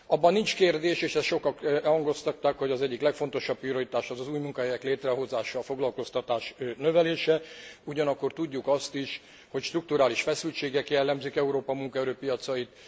Abban nincs kérdés, és ezt sokak hangoztatták, hogy az egyik legfontosabb prioritás az új munkahelyek létrehozása, a foglalkoztatás növelése, ugyanakkor tudjuk azt is, hogy strukturális feszültségek jellemzik Európa munkaerőpiacait.